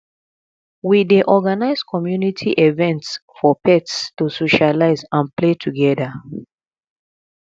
we dey organize community events for pets to socialize and play together